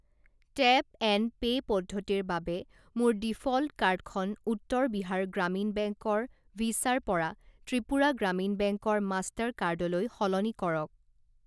Tap and pay পদ্ধতিৰ বাবে মোৰ ডিফ'ল্ট কাৰ্ডখন উত্তৰ বিহাৰ গ্ৰামীণ বেংক ৰ ভিছা ৰ পৰা ত্ৰিপুৰা গ্ৰামীণ বেংক ৰ মাষ্টাৰ কাৰ্ড লৈ সলনি কৰক।